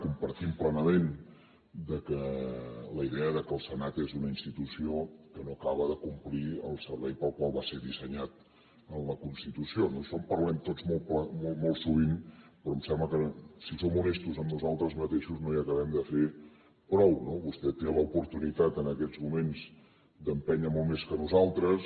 compartim plenament la idea que el senat és una institució que no acaba de complir el servei per al qual va ser dissenyat en la constitució no d’això en parlem tots molt sovint però em sembla que si som honestos amb nosaltres mateixos no hi acabem de fer prou no vostè té l’oportunitat en aquests moments d’empènyer molt més que nosaltres